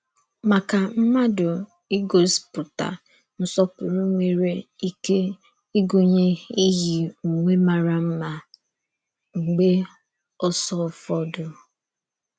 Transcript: Màkà mmádù, ígòspútà nsọ̀pùrù nwerè íké ígụ̀nyè íyí ùwè màrà mma mgbe ọ̀sọ̀fọ̀dé.